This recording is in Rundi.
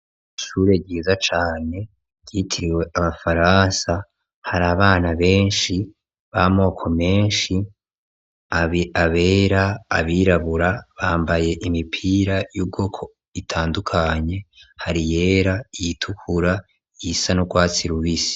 Ishure ryiza cane ryitiriwe abafaransa, hari abana benshi b'amoko menshi, abera, abirabura, bambaye imipira y'ubwoko itandukanye, hari iyera, iyitukura, iyisa n'urwatsi rubisi.